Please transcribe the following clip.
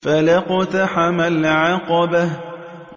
فَلَا اقْتَحَمَ الْعَقَبَةَ